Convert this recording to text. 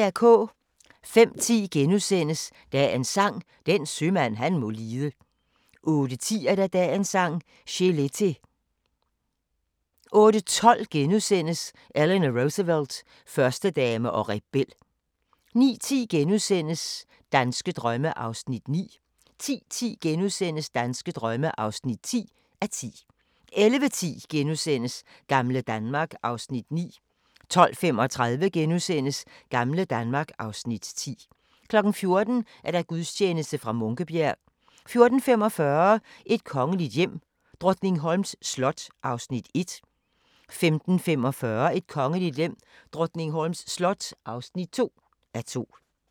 05:10: Dagens Sang: Den sømand han må lide * 08:10: Dagens Sang: Chelete 08:12: Eleanor Roosevelt – Førstedame og rebel * 09:10: Danske drømme (9:10)* 10:10: Danske drømme (10:10)* 11:10: Gamle Danmark (Afs. 9)* 12:35: Gamle Danmark (Afs. 10)* 14:00: Gudstjeneste fra Munkebjerg 14:45: Et kongeligt hjem: Drottningholms slot (1:2) 15:45: Et kongeligt hjem: Drottningholms slot (2:2)